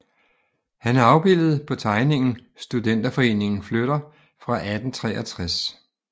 Han er afbildet på tegningen Studenterforeningen flytter fra 1863